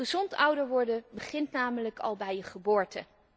Gezond ouder worden begint namelijk al bij je geboorte.